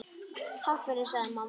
Takk fyrir, sagði mamma.